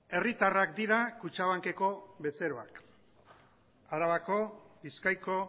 herritarrak dira kutxabankeko bezeroak arabako bizkaiko